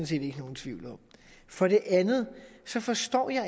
set ikke nogen tvivl om for det andet forstår jeg